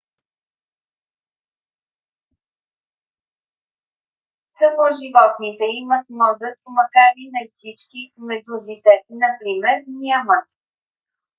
само животните имат мозък макар и не всички; медузите например нямат